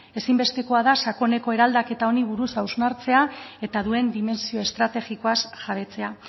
ezinbestekoa da sakoneko eraldaketa honi buruz hausnartzea eta duen dimentsio estrategikoaz jabetzea